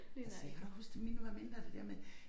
Altså jeg kan godt huske da mine var mindre det der med